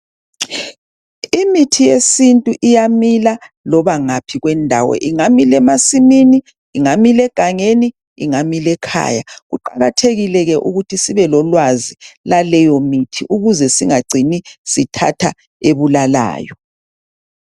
Imithi yesintu iyamile noma ngaphi kwendawo ingamila emasimini ingamila egangeni engamila ekhaya kuqakathekile ukuthi sibelolwazi laleyo mithi ukuze singacini sithatha ebulalayo.